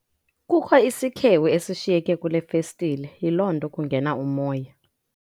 Kukho isikhewu esishiyeke kule festile yiloo nto kungena umoya.